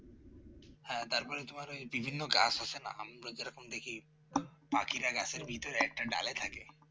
হ্যাঁ তারপর তোমার ওই বিভিন্ন গাছ আছে না আমরা যেরকম দেখি পাখিরা গাছের ভিতর একটা ডালে থাকে